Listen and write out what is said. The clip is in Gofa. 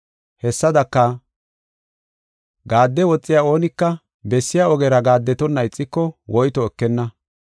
Hessadaka, gaadde woxiya oonika bessiya ogera gaaddetonna ixiko woyto ekenna.